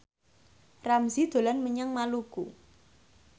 Ramzy dolan menyang Maluku